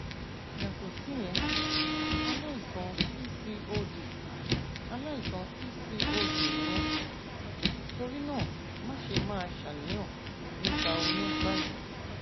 yàtọ síyẹn aláìsàn pcod aláìsàn pcod ni ẹ torí náà máṣe máa ṣàníyàn nípa oyún báyìí